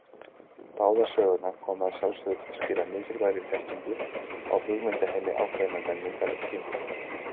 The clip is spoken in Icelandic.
Báðar sögurnar koma að sjálfsögðu til skila mikilvægri þekkingu á hugmyndaheimi ákveðinnar menningar og tíma.